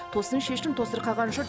тосын шешім тосырқаған жұрт